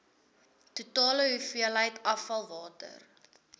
totale hoeveelheid afvalwater